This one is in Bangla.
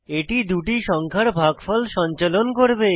এটি দুটি সংখ্যার ভাগফল সঞ্চালন করবে